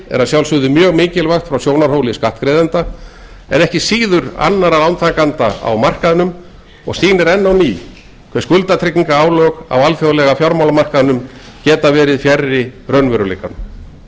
er að sjálfsögðu mjög mikilvægt frá sjónarhóli skattgreiðenda en ekki síður annarra lántakenda á markaðnum og sýnir enn á ný hve skuldatryggingarálag á alþjóðlega fjármálamarkaðnum geta verið fjarri raunveruleikanum